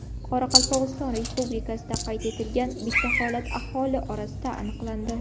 Qoraqalpog‘iston Respublikasida qayd etilgan bitta holat aholi orasida aniqlandi.